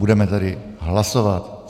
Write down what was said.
Budeme tedy hlasovat.